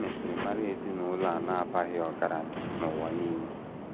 E mesịrị mara ezinụlọ a na - abaghị ọgaranya n’ụwa nile.